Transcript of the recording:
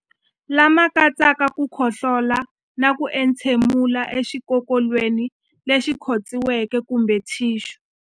Lama katsaka ku khohlola na ku entshemulela exikokolweni lexi khotsiweke kumbe thixu.